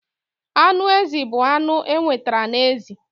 Anụ ezi bụ anụ enwetara na ezi.